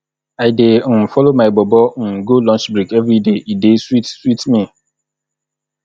i dey um folo my bobo um go lunch break everyday e dey sweet sweet me